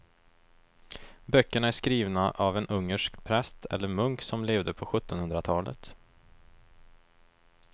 Böckerna är skrivna av en ungersk präst eller munk som levde på sjuttonhundratalet.